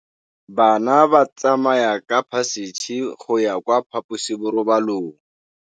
Bana ba tsamaya ka phašitshe go ya kwa phaposiborobalong.